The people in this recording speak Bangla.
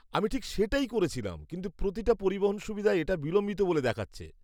আমি ঠিক সেটাই করেছিলাম, কিন্তু প্রতিটা পরিবহন সুবিধায় এটা বিলম্বিত বলে দেখাচ্ছে।